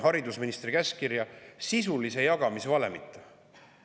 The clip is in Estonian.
kui me vaatame haridusministri käskkirja.